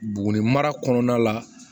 Buguni mara kɔnɔna la